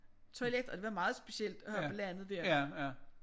Toilet og det var meget specielt at have på landet der